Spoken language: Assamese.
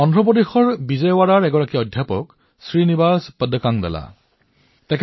অন্ধ্ৰ প্ৰদেশৰ বিজয়ৱাড়াৰ এজন অধ্যাপক শ্ৰীনিবাস পদকণ্ডালা জী